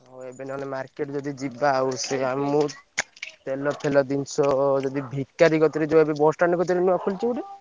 ହଁ ଏବେ ନହେଲେ market ଯଦି ଯିବା ଆଉ ସେ ଆଉ ମୁଁ ତେଲ ଫେଲ ଜିନିଷ ଯଦି ଭି କାରି କତିରେ ଯୋଉ ଏବେ bus stand କତିରେ ନୁଆ ଖୋଲିଛି ଗୋଟେ।